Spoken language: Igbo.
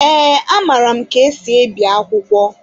Ee, amaara m ka esi ebi akwụkwọ.